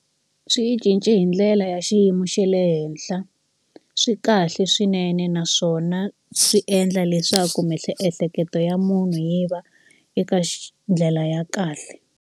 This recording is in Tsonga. Swi yi cince hi ndlela ya xiyimo xe le henhla. Swi kahle swinene naswona swi endla leswaku miehleketo ya munhu yi va eka ndlela ya kahle.